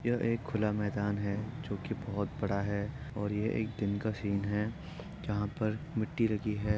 यह एक खुला मैदान है जो कि बोहत बड़ा है और यह एक दिन का सीन है जहाँ पर मिट्टी रखी है।